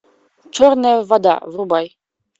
черная вода врубай